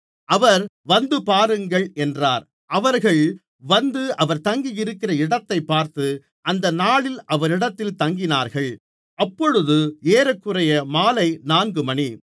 அவர் வந்துபாருங்கள் என்றார் அவர்கள் வந்து அவர் தங்கியிருந்த இடத்தைப் பார்த்து அந்த நாளில் அவரிடத்தில் தங்கினார்கள் அப்பொழுது ஏறக்குறைய மாலை நான்கு மணி